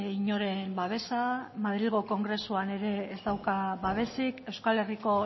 inoren babesa madrilgo kongresuan ere ez dauka babesik euskal herriko